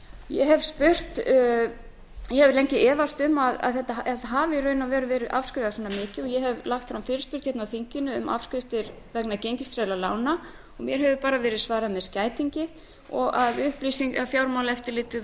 ég hef lengi efast um að í raun og veru hafi verið afskrifað svona mikið og ég hef lagt fram fyrirspurn á þinginu um afskriftir vegna gengistryggðra lána og mér hefur bara verið svarað með skætingi og að fjármálaeftirlitið